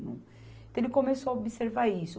Então ele começou a observar isso.